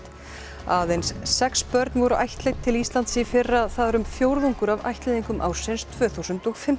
aðeins sex börn voru ættleidd til Íslands í fyrra það er um fjórðungur af ættleiðingum ársins tvö þúsund og fimmtán